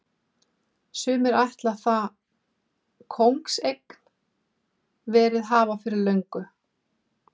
Sumir ætla það kóngseign verið hafa fyrir löngu.